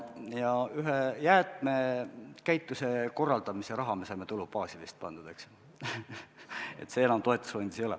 Jäätmekäituse korraldamise raha me saime tulubaasist sinna pandud, eks ju, see enam toetusfondis ei ole.